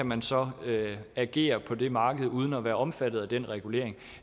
man så kan agere på det marked uden at være omfattet af den regulering